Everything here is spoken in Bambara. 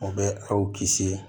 O bɛ aw kisi